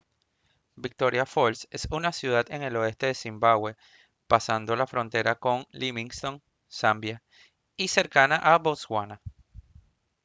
victoria falls es una ciudad en el oeste de zimbabwe pasando la frontera con livingstone zambia y cercana a botswana